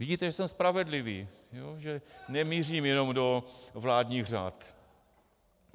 Vidíte, že jsem spravedlivý, že nemířím jenom do vládních řad.